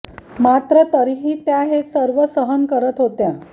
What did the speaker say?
मात्र तरीही त्या हे सर्व सहन करत होत्या